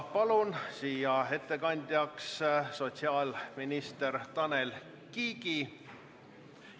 Palun ettekandeks kõnetooli sotsiaalminister Tanel Kiige!